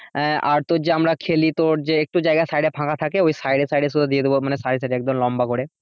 আহ আর তোর যে আমরা খেলি তোর যে একটু জায়গা সাইডে ফাঁকা থাকে ওই সাইডে সাইডে দিয়ে দেবো মানে সাইডে সাইডে একদম লম্বা করে